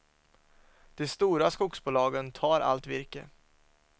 De stora skogsbolagen tar allt virke.